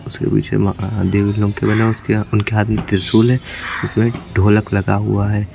उसके पीछे मकान बने उसके उनके हाथ में त्रिशूल है उसमें ढोलक लगा हुआ है।